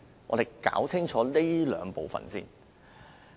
我們要先搞清楚這兩部分。